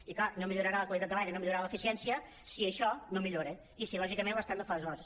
i clar no millorarà la qualitat de l’aire i no millorarà l’eficièn·cia si això no millora i si lògicament l’estat no fa els deures